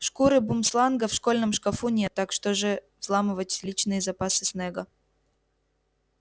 шкуры бумсланга в школьном шкафу нет так что же взламывать личные запасы снэга